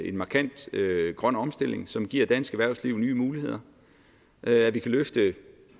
en markant grøn omstilling som giver dansk erhvervsliv nye muligheder at vi kan løfte